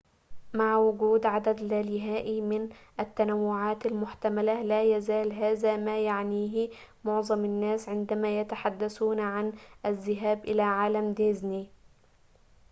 مع وجود عدد لا نهائي من التنوعات المحتملة لا يزال هذا ما يعنيه معظم الناس عندما يتحدثون عن الذهاب إلى عالم ديزني